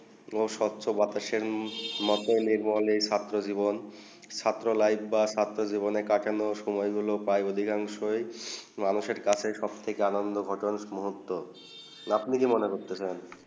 সুস্ত্র বাতাসে মাথায় লেগ মতুন ছাত্র জীবন ছাত্র লাইফ বা ছাত্র জীবন কাটালে লাইফ গুলু প্রায় অধিকাংশই মানুষের কাছে সব থেকে আনন্দ মুরোক্ত আপনি কি মনে করতেছেন